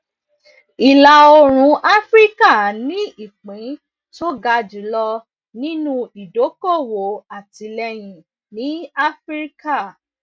ìlàoòrùn áfíríkà ní ìpín tó ga jùlọ nínú ìdókòwò àtìlẹyìn ní áfíríkà